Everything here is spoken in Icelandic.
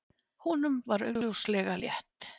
Honum var augljóslega létt.